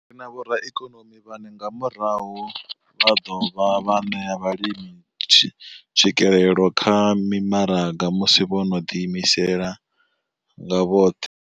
Ri na vhoraikonomi vhane nga murahu vha ḓo dovha vha ṋea vhalimi tswikelelo kha mimaraga musi vho no ḓiimisa nga vhoṱhe.